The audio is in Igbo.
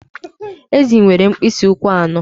Ezì nwere mkpịsị ụkwụ anọ